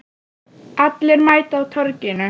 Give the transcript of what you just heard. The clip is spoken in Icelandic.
Allir mæta á Torginu